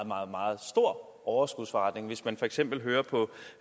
meget meget stor overskudsforretning hvis man for eksempel hører på